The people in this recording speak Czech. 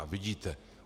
A vidíte.